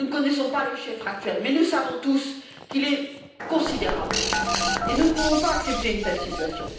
Nous ne connaissons pas le chiffre actuel, mais nous savons tous qu'il est considérable et nous ne pouvons pas accepter une telle situation.